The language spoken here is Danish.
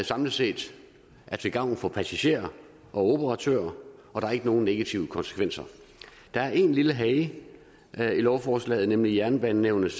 samlet set til gavn for passagerer og operatører og der er ikke nogen negative konsekvenser der er en lille hage i lovforslaget nemlig jernbanenævnets